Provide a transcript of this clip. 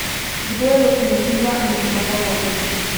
Kdo je lokomotiva in kdo vagon?